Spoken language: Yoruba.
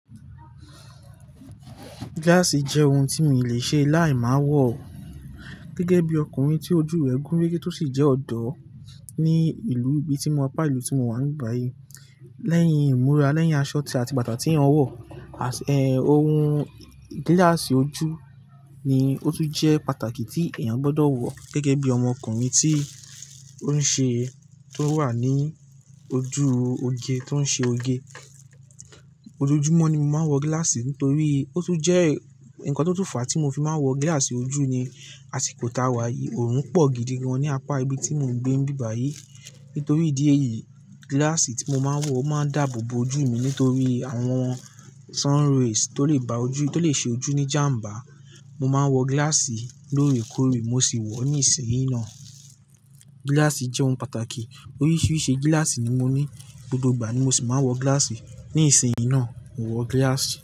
Gíláàsì jẹ́ ohun tí mi ò lè ṣe láì má wọ̀. Gẹ́gẹ́ bí ọkùnrin tí ojú rẹ̀ gúnrégé tó sì jẹ́ ọ̀dọ́ ní ìlú ibi tí mo pa ìlú tí mo wà níbàyí. Lẹ́yìn ìmúra, lẹ́yìn aṣọ tí a ti bàtà tí èèyàn wọ̀, eh, ohun gíláàsì ojú ni ó tún jẹ́ pàtàkì tí èèyàn gbọdọ̀ wọ̀. Gẹ́gẹ́ bí ọmọkùnrin tí ó ń ṣe, tó ń wà ní ojú oge, tó ń ṣe oge. Ojoojúmọ́ ni mo máa ń wọ gíláàsì torí ó tún jẹ́ ǹkan tó tún fàá tí mo fi máa ń wọ gíláàsì ojú ni. A sì kò ta wá yìí, òórùn pọ̀ gidi gan ní apá ibi tí mò ń gbé níbàyí. Nítorí ìdí èyí, gíláàsì tí mo máa ń wọ̀ máa ń dáàbò bo ojú mi nítorí àwọn sun rays tó lè ba ojú, tó lè ṣe ojú ní jàmbá. Mo máa ń wọ gíláàsì lóore kóòrè mo sì wọ̀ ọ́ ní ìsinyìí ná. Gíláàsì jẹ́ ohun pàtàkì. Oríṣiríṣi gíláàsì ni mo ní, gbogbo ìgbà ni mo sì máa ń wọ gíláàsì. Ní ìsinyìí ná, mo wọ gíláàsì.